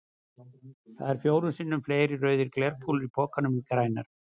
Það eru fjórum sinnum fleiri rauðar glerkúlur í pokanum en grænar.